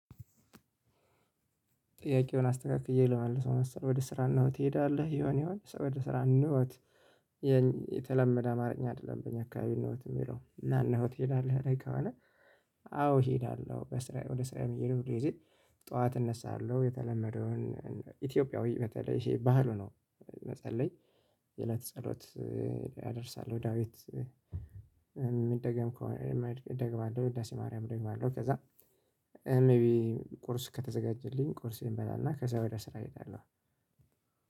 ጥያቄውን አስተካክዬ ልመልሰው መሰለኝ ወደ ስራ ኖት ትሄዳለህ ይሆን ይሆን ወደ ስራ ኖት። የተለመደ አማርኛ አይደለም በእኛ አካባቢ ኖት የሚለው እና ኖት ይላል ከሆነ? አዎ እሄዳለሁ በስራ ወደ ስራዬ ሁል ጊዜ ጠዋት እነሳለሁ የተለመደውን ኢትዮጵያዊ በተለይ ይሄ ባህሉ ነው። መጸለይ የለት ጸሎት እደርሳለሁ ዳዊት። ምደገም ከሆነ ደግማለሁ ውዳሴ ማርያም ደግማለሁ ከዚያ። ሜቢ ቁርስ ከተዘጋጀልኝ ቁርሴን በላና ከዚያ ወደ ስራ እሄዳለሁ።